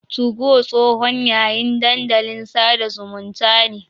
Tugo tsohon yayin dandalin sada zumunta ne.